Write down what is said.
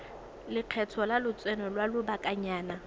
lekgetho la lotseno lwa lobakanyana